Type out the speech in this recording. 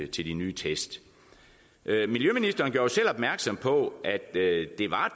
til de nye test miljøministeren gjorde selv opmærksom på at det er et